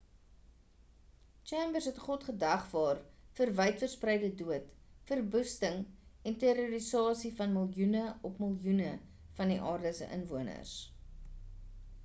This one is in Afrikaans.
chambers het god gedagvaar vir wydverspreide dood verwoesting en terrorisasie van miljoene op miljoene van die aarde se inwoners